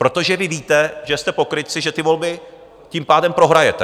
Protože vy víte, že jste pokrytci, že ty volby tím pádem prohrajete.